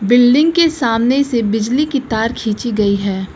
Building के सामने से बिजली की तार खींची गई है।